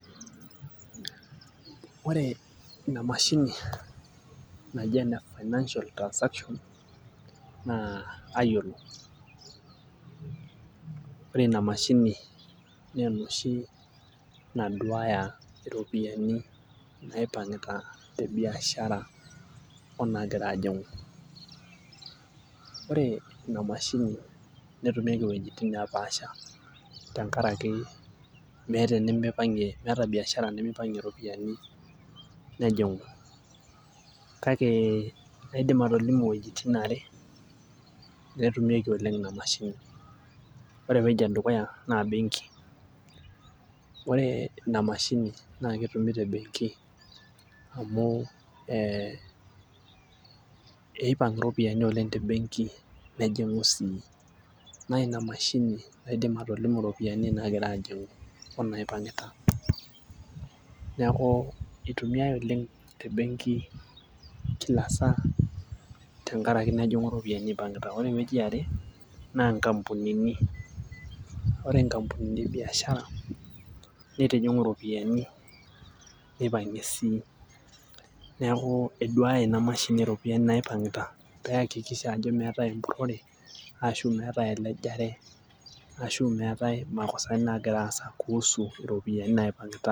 ore ina mashini naji ene financial transaction naa kayiolo. ore ina mashini naduaya iropiyiani naipang'ita te biashara onaagira ajing'u. ore ina mashini netumieki iwuejitin nepaasha tenkaraki, meeta enimipang'ie meeta biashara nemeipang'ie iropiyiani nejing'u kake kaidim atolimu wuejiin are neetumieki oleng ina mashini. ore ewueji edukuya naa benkiore ina mashini, naa ketumi te benki amu eipang' iropiyiani oleng te banki nejing'u sii. naa ina mashini naiken iropiyiani naagira aajing'u, onaipang'ita. neku itumiae oleng te benki kila saa, tenkaraki nejing'u iropiyiani ipang'ita ore ewueji era, ore nkampunini e biashara, nitijing'u iropiyiani neipang'ie sii neeku eduaaya ina mashini iropiyiani naipang'ita pee eyakikisha ajo meetae empurore ashu meetae elejare. ashu meetae imakosani naagira asa kuusu iropiyiani naipang'ita.